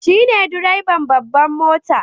Shi ne direban babbar mota